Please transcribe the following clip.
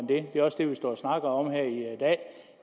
det er også det vi står og snakker om her